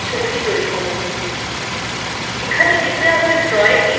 আপনি নিজেই এই ছবি তৈরি করুন